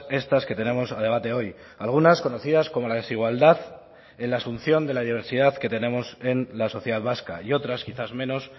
estas que tenemos a debate hoy algunas conocidas como la desigualdad en la asunción de la diversidad que tenemos en la sociedad vasca y otras quizás menos